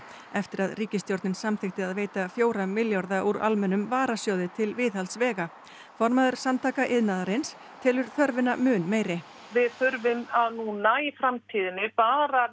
eftir að ríkisstjórnin samþykkti að veita fjóra milljarða úr almennum varasjóði til viðhalds vega formaður Samtaka iðnaðarins telur þörfina mun meiri við þurfum núna í framtíðinni bara